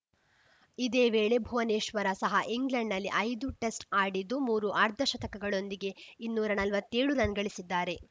ಇದೇ ವೇಳೆ ಭುವನೇಶ್ವರ ಸಹ ಇಂಗ್ಲೆಂಡ್‌ನಲ್ಲಿ ಐದು ಟೆಸ್ಟ್‌ ಆಡಿದ್ದು ಮೂರು ಅರ್ಧಶತಕಗಳೊಂದಿಗೆ ಇನ್ನೂರ ನಲ್ವತ್ತೇಳು ರನ್‌ ಗಳಿಸಿದ್ದಾರೆ